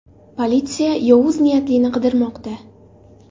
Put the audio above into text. Politsiya yovuz niyatlini qidirmoqda.